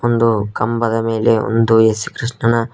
ಒಂದು ಕಂಬದ ಮೇಲೆ ಒಂದು ಏಸು ಕೃಷ್ಣನ--